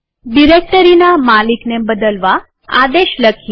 ડિરેક્ટરીના માલિકને બદલવા આદેશ લખીએ